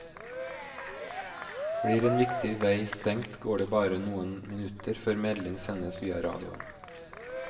Blir en viktig vei stengt går det bare noen minutter før melding sendes via radioen.